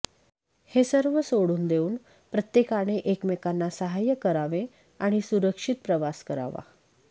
हे सर्व सोडून देऊन प्रत्येकाने एकमेकांना सहाय्य करावे आणि सुरक्षित प्रवास करावा